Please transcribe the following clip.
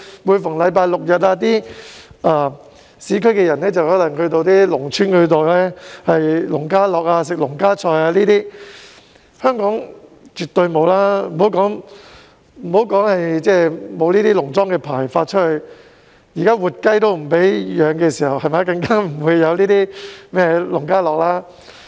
每逢星期六、日，內地的市區居民便會到農村享受農家樂，吃農家菜等；香港完全沒有這種活動，除了政府沒有發農莊牌照，現時連活雞也不准飼養，更莫說農家樂了。